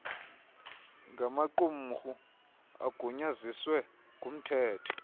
ngamaqumrhu agunyaziswe ngumthetho